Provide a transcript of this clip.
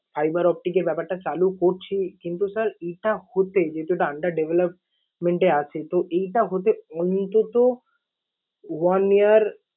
fiver optic এর ব্যাপারটা চালু করছি কিন্তু sir এটা হতে, যেহেতু এটা under development এ আছে তো এটা হতে অন্তত one year